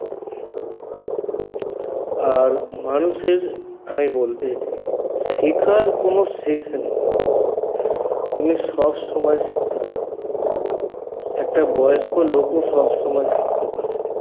আর মানুষের বলতে শিখার কোনো শেষ নেই তুমি সবসময় শিখতে পারো একটা বয়স্ক লোকও সবসময় শিখতে পারে